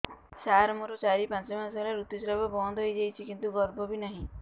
ସାର ମୋର ଚାରି ପାଞ୍ଚ ମାସ ହେଲା ଋତୁସ୍ରାବ ବନ୍ଦ ହେଇଯାଇଛି କିନ୍ତୁ ଗର୍ଭ ବି ନାହିଁ